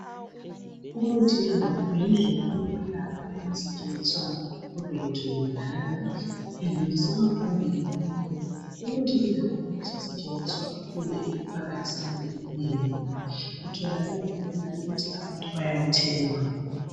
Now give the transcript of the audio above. Umuthi wendalo yindlela yokwelapha eyayisetshenziswa ngokhokho bethu kudala. Idluliselwa phambili ngomlomo. Umuthi wendalo usasetshenziswa kakhulu emphakathini eminengi. Utholakala kalula futhi abantu bayawuthenga.